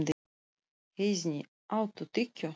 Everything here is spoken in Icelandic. Heiðný, áttu tyggjó?